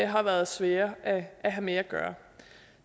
har været svære at have med at gøre